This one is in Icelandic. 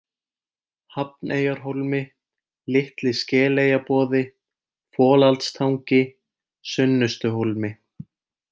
Hafneyjarhólmi, Litli-Skeleyjaboði, Folaldstangi, Sunnustuhólmi